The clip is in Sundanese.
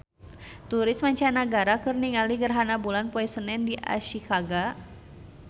Turis mancanagara keur ningali gerhana bulan poe Senen di Ashikaga